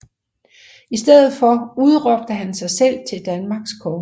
I stedet for udråbte han sig selv til Danmarks konge